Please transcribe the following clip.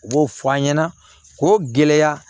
U b'o fɔ an ɲɛna k'o gɛlɛya